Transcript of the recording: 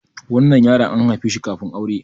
wannan yaron an haife shi kafin aure